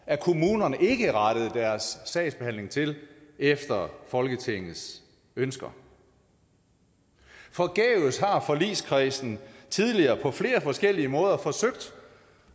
at kommunerne ikke rettede deres sagsbehandling til efter folketingets ønsker forgæves har forligskredsen tidligere på flere forskellige måder forsøgt